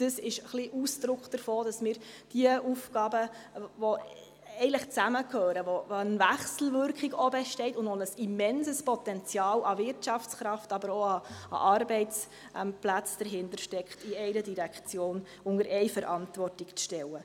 Es ist ein bisschen Ausdruck davon, dass wir die Aufgaben, die eigentlich zusammengehören, zwischen denen auch eine Wechselwirkung besteht und hinter denen ein immenses Potenzial an Wirtschaftskraft, aber auch an Arbeitsplätzen steckt, in Direktion unter Verantwortung stellen.